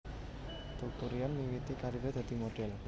Teuku Ryan miwiti kariré dadi modhél